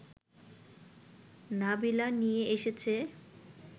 নাবিলা নিয়ে এসেছে